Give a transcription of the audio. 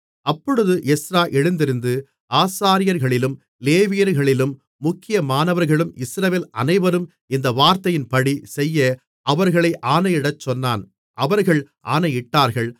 அப்பொழுது எஸ்றா எழுந்திருந்து ஆசாரியர்களிலும் லேவியர்களிலும் முக்கியமானவர்களும் இஸ்ரவேல் அனைவரும் இந்த வார்த்தையின்படி செய்ய அவர்களை ஆணையிடச் சொன்னான் அவர்கள் ஆணையிட்டார்கள்